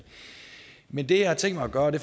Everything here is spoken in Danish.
men det jeg har tænkt mig at gøre og det